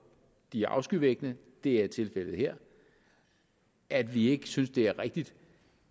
de er afskyvækkende det er tilfældet her at vi ikke synes at det er rigtigt